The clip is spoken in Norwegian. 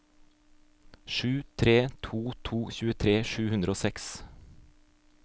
sju tre to to tjuetre sju hundre og seks